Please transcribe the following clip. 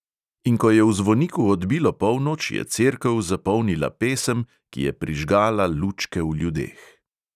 In ko je v zvoniku odbilo polnoč, je cerkev zapolnila pesem, ki je prižgala lučke v ljudeh.